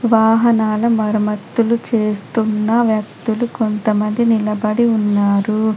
వాహనాల మరమత్తులు చేస్తున్న వ్యక్తులు కొంతమంది నిలబడి ఉన్నారు.